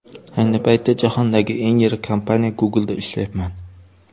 Ayni paytda jahondagi eng yirik kompaniya Google’da ishlayapman.